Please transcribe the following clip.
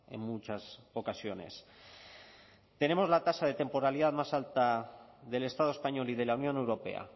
en muchas ocasiones tenemos la tasa de temporalidad más alta del estado español y de la unión europea